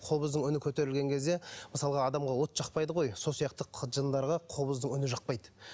қобыздың үні көтерілген кезде мысалға адамға от жақпайды ғой сол сияқты жындарға қобыздың үні жақпайды